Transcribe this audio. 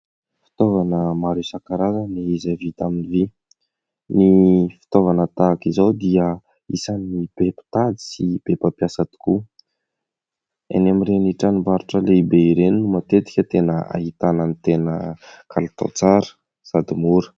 Fitaovana maro isan-karazany izay vita amin'ny vy. Ny fitaovana tahaka izao dia isan'ny be mpitady sy be pampiasa tokoa. Eny amin'ireny tranom-barotra lehibe ireny no matetika tena ahitana ny tena kalitao tsara sady mora.